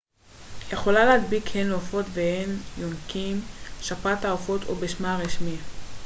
שפעת העופות או בשמה הרשמי avian influenza יכולה להדביק הן עופות והן יונקים